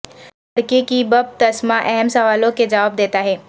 لڑکے کی بپتسما اہم سوالوں کے جواب دیتا ہے